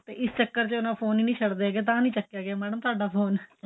ਤੇ ਇਸ ਚੱਕਰ ਚ ਉਹ ਫੋਨ ਹੀ ਨਹੀਂ ਛੱਡਦੇ ਹੈਗੇ ਤਾਂ ਨਹੀਂ ਚੱਕਿਆਂ ਗਿਆ ਮੈਡਮ ਤੁਹਾਡਾ ਫੋਨ